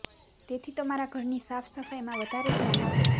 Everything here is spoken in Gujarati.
તેથી તમારા ઘરની સાફ સફાઈ માં વધારે ધ્યાન આપો